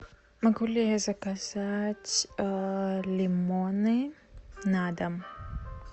могу ли я заказать лимоны на дом